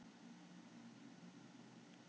Tjaldur, pantaðu tíma í klippingu á laugardaginn.